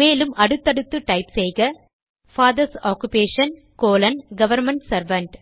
மேலும் அடுத்தடுத்து டைப் செய்க father's occupation colon government servant